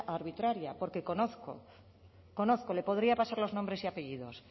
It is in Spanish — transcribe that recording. arbitraria porque conozco conozco le podría pasar los nombres y apellidos